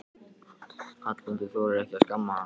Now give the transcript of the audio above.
Hallmundur þorir ekki að skamma hann.